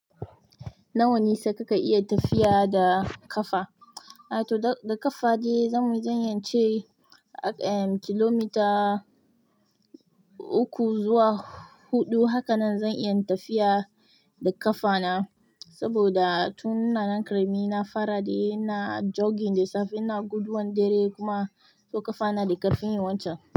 Nawa nesa kika iya tafiya da ƙafa? A to da ƙafa je zan yi, zan yi ce akai yayi kilomita uku zuwa huɗu. Haka nan zan iya tafiya da ƙafana saboda tun nan da ƙarami na fara dai ina jogging da safe na guduwan dare kuma to ƙafana da ƙarfin yawancin.